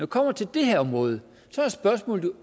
kommer til det her område er spørgsmålet